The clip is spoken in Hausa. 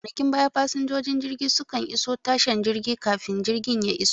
A kwanakin baya fasinjojin jirgi su kan iso tashan jirgin kafin jirgi ya iso